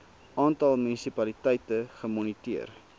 aantal munisipaliteite gemoniteer